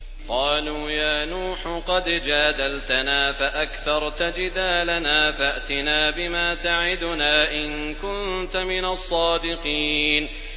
قَالُوا يَا نُوحُ قَدْ جَادَلْتَنَا فَأَكْثَرْتَ جِدَالَنَا فَأْتِنَا بِمَا تَعِدُنَا إِن كُنتَ مِنَ الصَّادِقِينَ